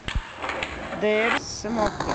дээрсмокэ